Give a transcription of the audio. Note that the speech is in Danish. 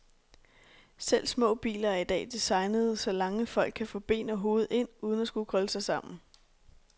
Selv små biler er i dag designede, så lange folk kan få ben og hoved ind, uden at skulle krølle sig sammen.